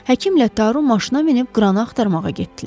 Həkimlə Taru maşına minib qranı axtarmağa getdilər.